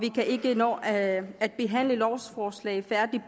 ikke kan nå at at behandle lovforslaget færdigt